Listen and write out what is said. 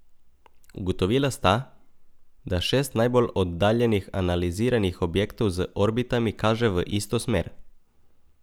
Ugotovila sta, da šest najbolj oddaljenih analiziranih objektov z orbitami kaže v isto smer.